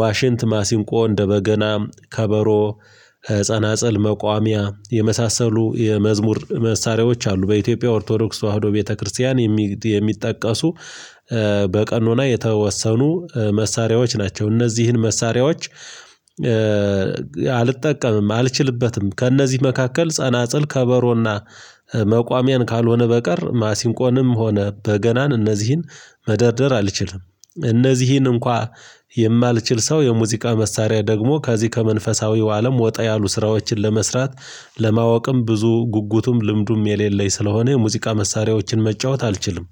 ዋሽንት ማሲንቆ እንደ በገና ከበሮ መጸናፀል መቋሚያ የመሳሰሉ የመዝሙር መሳሪያዎች አሉ። በኢትዮጵያ ኦርቶዶክስ ተዋህዶ ቤተክርስቲያን የሚጠቀሱ። በቀኖና የተወሰኑ መሳሪያዎች ናቸው። እነዚህን መሳሪያዎች። አልጠቀምም አልችልበትም ከእነዚህ መካከል ጸናጽል ከበሮና መቋሚያን ካልሆነ በቀር ማሲንቆንም ሆነ በገናን እነዚህን መደርደር አልችልም። እነዚህን እንኳን የማልችል ሰው የሙዚቃ መሳሪያ ደግሞ ከዚህ ከመንፈሳዊው አለም ወጣ ያሉ ስራዎችን ለመስራት ለማወቅም ብዙ ጉጉቱም ልምዱም የሌለኝ ስለሆነ የሙዚቃ መሳሪያዎችን መጫወት አልችልም